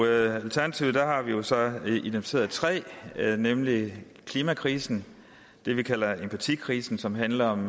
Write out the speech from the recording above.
i alternativet har vi vi så identificeret tre nemlig klimakrisen det vi kalder empatikrisen som handler om